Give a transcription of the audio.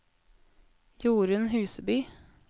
Jorunn Huseby